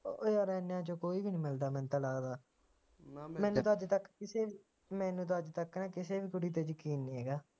ਓ ਯਾਰ ਇਹਨਾਂ ਚੋ ਕੋਈ ਨਹੀ ਮਿਲਦਾ ਮੈਨੂੰ ਤਾ ਲੱਗਦਾ ਮੈਨੂੰ ਤਾ ਅੱਜਤਕ ਕਿਸੇ ਵੀ ਮੈਨੂੰ ਤਾ ਅੱਜਤਕ ਕਿਸੇ ਵੀ ਕੁੜੀ ਤੇ ਯਕੀਨ ਨਹੀਂ ਹੈਗਾ